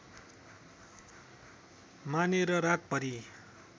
मानेर रातभरि